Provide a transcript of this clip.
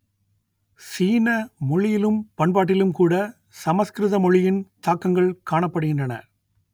சீன மொழியிலும் பண்பாட்டிலும் கூட சமஸ்கிருத மொழியின் தாக்கங்கள் காணப்படுகின்றன